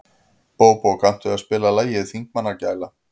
Bóbó, kanntu að spila lagið „Þingmannagæla“?